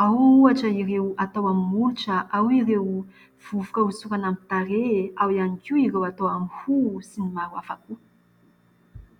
Ao ohatra ireo atao amin'ny molotra, ao ireo vovoka hosorana amin'ny tarehy, ao ihany koa ireo atao amin'ny hoho sy ny maro hafa koa.